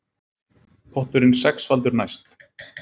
Potturinn sexfaldur næst